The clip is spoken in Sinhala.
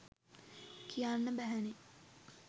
කියන්න බැහැනේ.